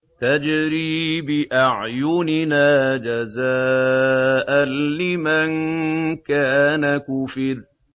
تَجْرِي بِأَعْيُنِنَا جَزَاءً لِّمَن كَانَ كُفِرَ